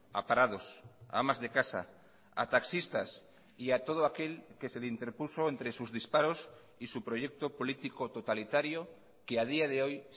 a parados a amas de casa a taxistas y a todo aquel que se le interpuso entre sus disparos y su proyecto político totalitario que a día de hoy